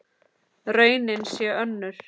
Raunin sé önnur.